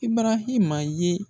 Ibarahima ye.